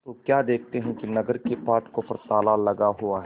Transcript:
तो क्या देखते हैं कि नगर के फाटकों पर ताला लगा हुआ है